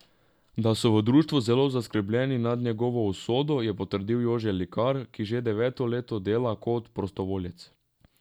Da so v društvu zelo zaskrbljeni nad njegovo usodo, je potrdil Jože Likar, ki že deveto leto dela kot prostovoljec.